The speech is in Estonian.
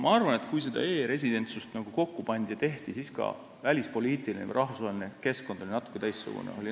Ma arvan, et kui seda e-residentsust kokku pandi ja tehti, siis oli ka välispoliitiline, rahvusvaheline keskkond natuke teistsugune.